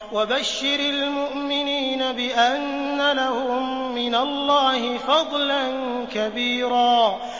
وَبَشِّرِ الْمُؤْمِنِينَ بِأَنَّ لَهُم مِّنَ اللَّهِ فَضْلًا كَبِيرًا